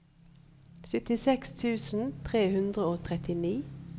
syttiseks tusen tre hundre og trettini